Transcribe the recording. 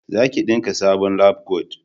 za ki dinka sabon labkwat!